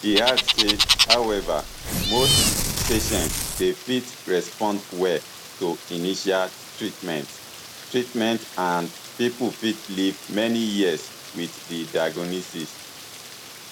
e add say however most patients dey fit respond well to initial treatment treatment and pipo fit live many years wit di diagnosis